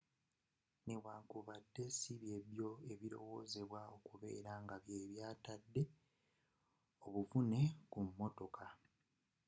newankubadde sibyebyo ebirowozebwa okubeera nga bye byatadde obuvune ku mmotoka